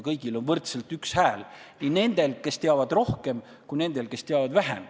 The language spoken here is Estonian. Kõigil on võrdselt üks hääl – nii nendel, kes teavad rohkem, kui ka nendel, kes teavad vähem.